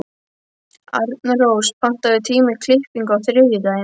Arnrós, pantaðu tíma í klippingu á þriðjudaginn.